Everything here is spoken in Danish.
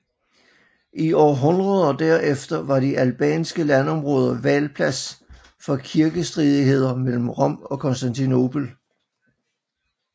I århundrederne der efter var de albanske landområder valplads for kirkestridigheder mellem Rom og Konstantinopel